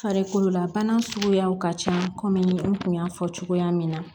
Farikololabana suguyaw ka ca kɔmi n kun y'a fɔ cogoya min na